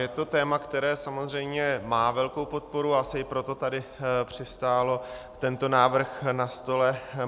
Je to téma, které samozřejmě má velkou podporu, a asi i proto tady přistál tento návrh na stole.